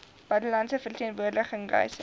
buitelandse verteenwoordiging reise